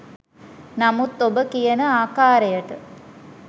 නමුත් ඔබ කියන ආකාරයට